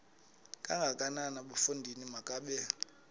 kangakanana bafondini makabe